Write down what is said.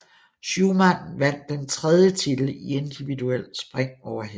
Schuhmann vandt den tredje titel i individuel spring over hest